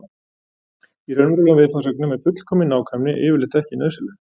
Í raunverulegum viðfangsefnum er fullkomin nákvæmni yfirleitt ekki nauðsynleg.